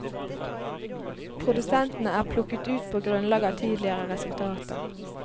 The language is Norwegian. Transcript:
Produsentene er plukket ut på grunnlag av tidligere resultater.